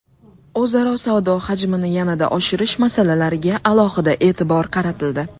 O‘zaro savdo hajmini yanada oshirish masalalariga alohida e’tibor qaratildi.